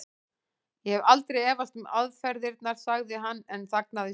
Ég hef aldrei efast um aðferðirnar. sagði hann en þagnaði svo.